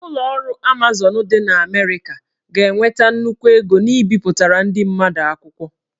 Ụlọ ọrụ Amazon dị na Amerịka ga-enweta nnukwu ego n'ibipụtara ndị mmadụ akwụkwọ